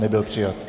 Nebyl přijat.